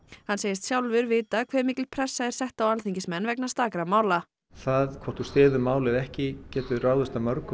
hann segist sjálfur vita hve mikil pressa er sett á alþingismenn vegna stakra mála það hvort þú styður mál eða ekki getur ráðist af mörgu